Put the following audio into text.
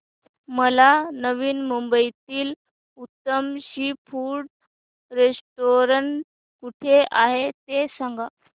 मला नवी मुंबईतलं उत्तम सी फूड रेस्टोरंट कुठे आहे ते सांग